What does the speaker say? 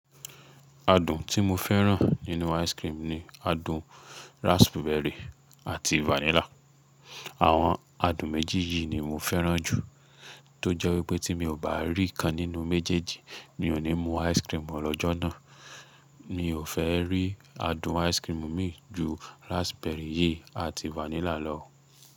Adùn tí mo fẹ́ràn nínú ice cream ni adùn raspberry àti vanilla. Àwọn adùn méjì yìí ni mo fẹ́ràn jù tó jẹ́ wípé tí mi ò bá rí kan nínú méjèèjì ni ò ní mu ice cream lọ́jọ́ náà. Mi ò fẹ́ rí adùn ice cream mi ju raspberry yìí àti vanilla lọ.